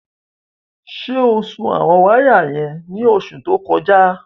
Ṣé o sun àwọn wáyà yẹn ní oṣù tó kọjá?